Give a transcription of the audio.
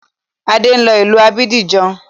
Adé ń lọ ìlú Abidjan